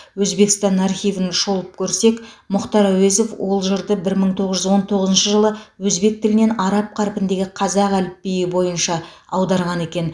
өзбекстан архивін шолып көрсек мұхтар әуезов ол жырды бір мың тоғыз жүз он тоғызыншы жылы өзбек тілінен араб қарпіндегі қазақ әліпбиі бойынша аударған екен